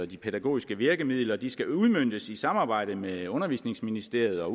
de pædagogiske virkemidler at de skal udmøntes i samarbejde med undervisningsministeriet og